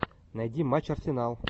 найди матч арсенал